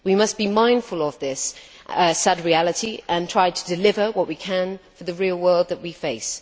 We must be mindful of this sad fact and try to deliver what we can for the real world that we face.